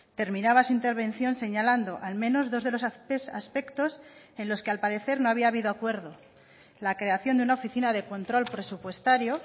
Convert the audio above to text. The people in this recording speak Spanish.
terminaba su intervención señalando al menos dos de los aspectos en los que al parecer no había habido acuerdo la creación de una oficina de control presupuestario